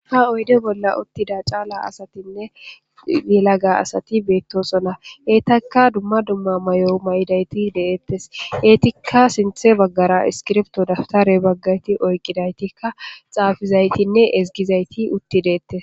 Haa oyidda bolla uttida caala asatinne yelagga asati betosona .betakka dumma dumma mayo mayidayitt de'etees.ettikka sinththe bagara isikibirto ,dabitare hee bagayitt oyikidayittikka xaafizayittinne ezigizayitt utti detees.